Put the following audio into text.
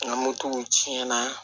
Nka motow tiɲɛ na